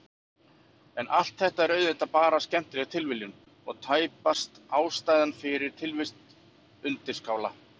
En allt þetta er auðvitað bara skemmtileg tilviljun og tæpast ástæðan fyrir tilvist undirskála.